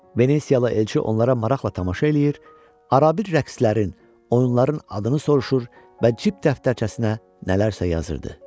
Venesiyalı elçi onlara maraqla tamaşa eləyir, ərabir rəqslərin, oyunların adını soruşur və cib dəftərçəsinə nələrsə yazırdı.